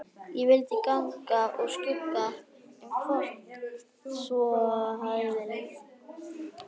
Ég vildi ganga úr skugga um hvort svo hefði verið.